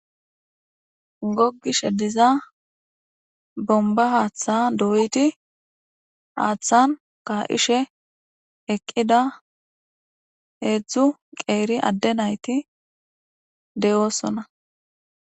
Gogishe diza bombba haaththa doydii haaththan ka'aishe eeqida hedzdzu qeeri adde naytti de'ossonna